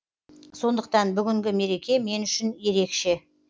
сондықтан бүгінгі мереке мен үшін ерекше